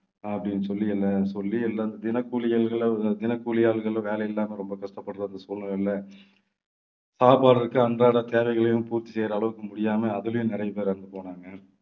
அப்படின்னு சொல்லி எல்லாம் சொல்லி எல்லாம் தினக்கூலி தினக்கூலி ஆட்களும் வேலை இல்லாம ரொம்ப கஷ்டப்படுற இந்த சூழ்நிலையில சாப்பாடு இருக்கு அன்றாட தேவைகளையும் பூர்த்தி செய்ற அளவுக்கு முடியாம அதிலயும் நிறைய பேர் இறந்து போனாங்க